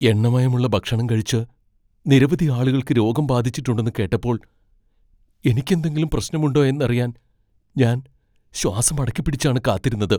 എണ്ണമയമുള്ള ഭക്ഷണം കഴിച്ച് നിരവധി ആളുകൾക്ക് രോഗം ബാധിച്ചിട്ടുണ്ടെന്ന് കേട്ടപ്പോൾ എനിക്ക് എന്തെങ്കിലും പ്രശ്നമുണ്ടോ എന്നറിയാൻ ഞാൻ ശ്വാസം അടക്കിപ്പിടിച്ചാണ് കാത്തിരുന്നത്.